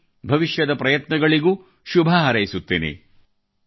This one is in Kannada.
ಮತ್ತು ಭವಿಷ್ಯದ ಪ್ರಯತ್ನಗಳಿಗೂ ಶುಭಹಾರೈಸುತ್ತೇನೆ